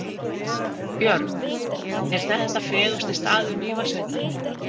Björn: Er þetta fegursti staður Mývatnssveitar?